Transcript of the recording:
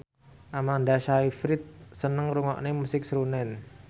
Amanda Sayfried seneng ngrungokne musik srunen